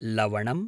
लवणम्